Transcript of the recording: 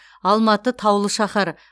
алматы таулы шаһар